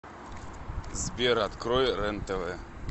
сбер открой рен тв